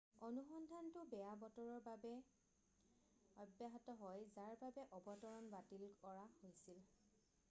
অনুসন্ধানটো বেয়া বতৰৰ বাবে ব্যাহত হয় যাৰ বাবে অৱতৰণ বাতিল কৰা হৈছিল